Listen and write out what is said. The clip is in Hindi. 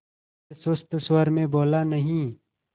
फिर सुस्त स्वर में बोला नहीं